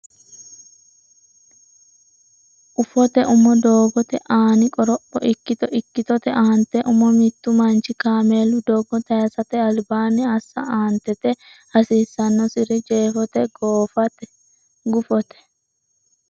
ufote umo Doogote Aani Qoropho Ikkito Ikkitote Aante Umo Mittu manchi kaameelu doogo tayisate albaanni assa Aantete hasiissannosiri Jeefote Gufote.